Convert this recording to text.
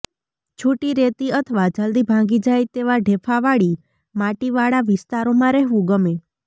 છૂટી રેતી અથવા જલદી ભાંગી જાય તેવા ઢેફાવાળી માટીવાળા વિસ્તારોમાં રહેવું ગમે